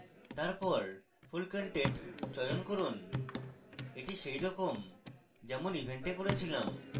তারপর full content চয়ন করুন এটি সেরকম যেমন event we করেছিলাম